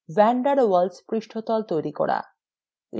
van der waals পৃষ্ঠতল তৈরি করা